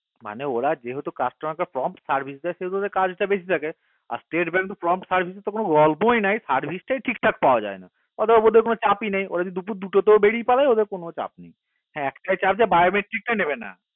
মানে ওরা যেহেতু customer কে কম service দেয় সেহেতু ওদের কাজ তা একটু বেশি থাকে আর stete bank এর কম service এর তো কোনো গল্পই নাই service তাই ঠিকঠাক পাওয়া যাই না ওদের কোনো চাপই নাই ওরা যদি দুপুর দুটোতেওবেরিয়ে পরে ওদের কোনো চাপই নাই ওদের একটাই চাপ যে ওরা biometric টা নেবে না